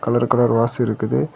Colour colour vase இருக்குது.